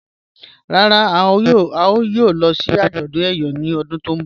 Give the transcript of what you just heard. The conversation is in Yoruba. Rárá, à yóò lọ̀ sí ajọ̀dún Eyọ̀ ni ọ̀dún tó nbọ̀